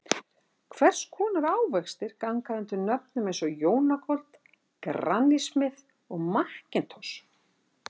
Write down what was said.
Hvers konar ávextir ganga undir nöfnum eins og Jonagold, Granny Smith og McIntosh?